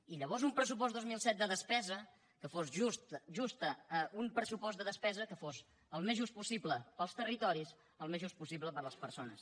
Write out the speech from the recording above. i llavors un pressupost dos mil disset de despesa que fos just un pressupost de despesa que fos al més just possible per als territoris al més just possible per a les persones